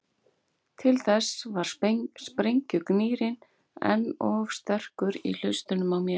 Til þess var sprengjugnýrinn enn of sterkur í hlustunum á mér.